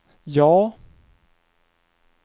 ja